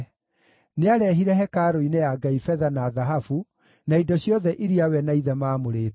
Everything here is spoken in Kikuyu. Nĩarehire hekarũ-inĩ ya Ngai betha na thahabu, na indo ciothe iria we na ithe maamũrĩte.